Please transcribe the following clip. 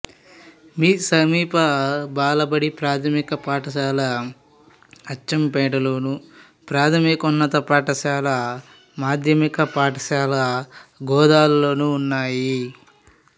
సమీప బాలబడి ప్రాథమిక పాఠశాల అచ్చంపేటలోను ప్రాథమికోన్నత పాఠశాల మాధ్యమిక పాఠశాల గోదాల్లోనూ ఉన్నాయి